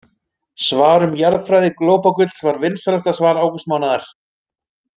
Svar um jarðfræði glópagulls var vinsælasta svar ágústmánaðar.